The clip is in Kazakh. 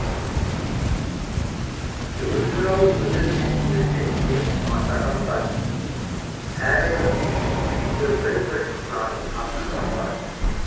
сүгір жырау өнермен елді иіріп матаған бар әрбір күйге бір бір нарын атаған бар